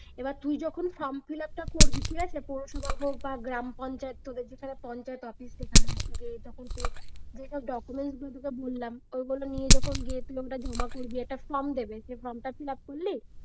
এবার তুই যখন form fill up টা করবি ঠিক আছে পৌরসভা হোক বা গ্রাম পঞ্চায়েত তোদের যেখানে পঞ্চায়েত office সেখানে গিয়ে তখন যে যেসব documents গুলো তোকে বললাম, ওগুলো নিয়ে গিয়ে জমা করবি একটা form দেবে সে form টা fill up করলি,